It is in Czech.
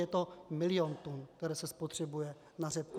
Je to milion tun, které se spotřebuje na řepku.